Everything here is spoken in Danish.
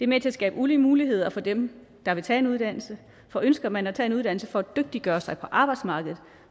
med til at skabe ulige muligheder for dem der vil tage en uddannelse for ønsker man at tage en uddannelse for at dygtiggøre sig på arbejdsmarkedet